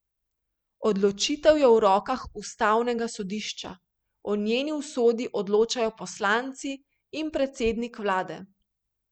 Odločitev je v rokah ustavnega sodišča, o njeni usodi odločajo poslanci in predsednik vlade.